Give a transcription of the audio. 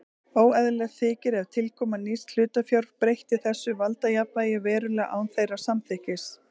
Óeðlilegt þykir ef tilkoma nýs hlutafjár breytti þessu valdajafnvægi verulega án þeirra samþykkis.